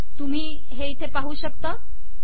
तुम्ही हे इथे पाहू शकता